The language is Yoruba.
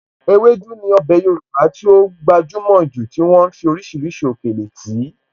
Ewédú ní ọbẹ̀ Yorùbá tí ó gbajúmọ̀ jù tí wọ́n ń fi oríṣiríṣi òkèlè tì í.